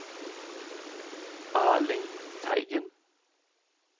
Erling Teigen